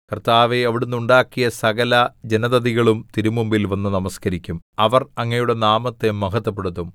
കർത്താവേ അവിടുന്ന് ഉണ്ടാക്കിയ സകലജനതതികളും തിരുമുമ്പിൽ വന്ന് നമസ്കരിക്കും അവർ അങ്ങയുടെ നാമത്തെ മഹത്വപ്പെടുത്തും